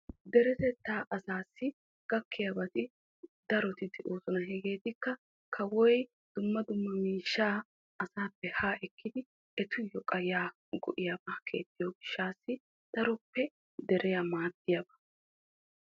Deretetta asaassi gakkiyabbatti daroy de'osonna hegeekka kawoy ettappe miishsha ekkiddi ettawu guye koshiyaaba giigisees.